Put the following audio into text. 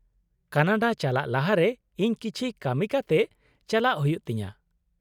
- Canada ᱪᱟᱞᱟᱜ ᱞᱟᱦᱟᱨᱮ ᱤᱧ ᱠᱤᱪᱷᱤ ᱠᱟᱹᱢᱤ ᱠᱟᱛᱮᱜ ᱪᱟᱞᱟᱜ ᱦᱩᱭᱩᱜ ᱛᱤᱧᱟᱹ ᱾